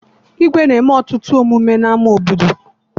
Igwe na-eme ọtụtụ emume n'ama obodo